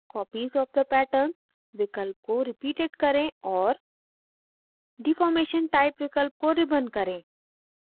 copies of the patterns विकल्प को repeated करें और deformation type विकल्प को ribbon करें